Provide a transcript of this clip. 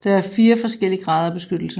Der er fire forskellige grader af beskyttelse